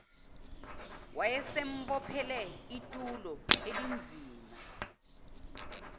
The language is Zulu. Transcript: wayesembophele itulo elinzima